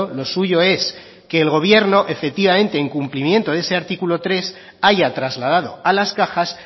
lo suyo es que el gobierno efectivamente en cumplimiento de ese artículo tres haya trasladado a las cajas